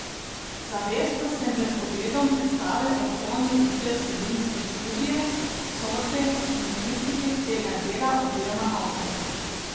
Zavestno sem pred ogledom predstave odklonil vse vsebinske študije, sodbe in kritike tega dela oziroma avtorja.